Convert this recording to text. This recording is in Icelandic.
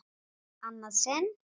Annað sinn?